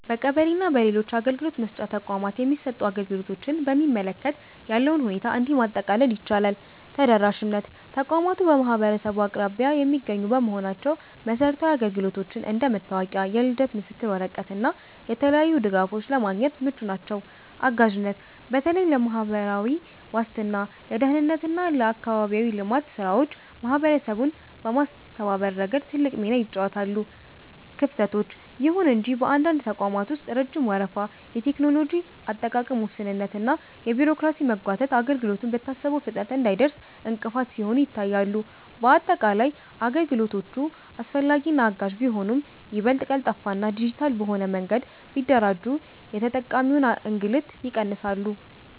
በቀበሌ እና በሌሎች የአገልግሎት መስጫ ተቋማት የሚሰጡ አገልግሎቶችን በሚመለከት ያለውን ሁኔታ እንዲህ ማጠቃለል ይቻላል፦ ተደራሽነት፦ ተቋማቱ በማህበረሰቡ አቅራቢያ የሚገኙ በመሆናቸው መሰረታዊ አገልግሎቶችን (እንደ መታወቂያ፣ የልደት ምስክር ወረቀት እና የተለያዩ ድጋፎች) ለማግኘት ምቹ ናቸው። አጋዥነት፦ በተለይ ለማህበራዊ ዋስትና፣ ለደህንነት እና ለአካባቢያዊ ልማት ስራዎች ማህበረሰቡን በማስተባበር ረገድ ትልቅ ሚና ይጫወታሉ። ክፍተቶች፦ ይሁን እንጂ በአንዳንድ ተቋማት ውስጥ ረጅም ወረፋ፣ የቴክኖሎጂ አጠቃቀም ውስንነት እና የቢሮክራሲ መጓተት አገልግሎቱ በታሰበው ፍጥነት እንዳይደርስ እንቅፋት ሲሆኑ ይታያሉ። ባጠቃላይ፣ አገልግሎቶቹ አስፈላጊና አጋዥ ቢሆኑም፣ ይበልጥ ቀልጣፋና ዲጂታል በሆነ መንገድ ቢደራጁ የተጠቃሚውን እንግልት ይቀንሳሉ።